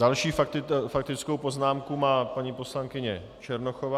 Další faktickou poznámku má paní poslankyně Černochová.